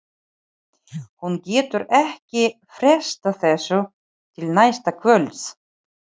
Hún getur ekki frestað þessu til næsta kvölds.